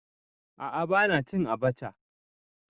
A'a bana cin abacha.